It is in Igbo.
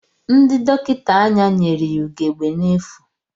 Ndị dọkịta anya nyere ya ugegbe n'efu.